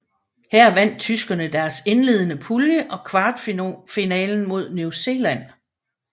Her vandt tyskerne deres indledende pulje og kvartfinalen mod New Zealand